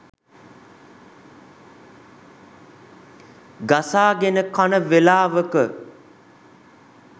ගසාගෙන කන වෙලාවක